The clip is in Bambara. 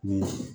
Ni